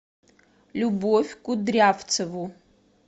любовь кудрявцеву